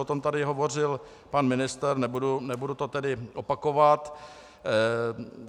O tom tady hovořil pan ministr, nebudu to tedy opakovat.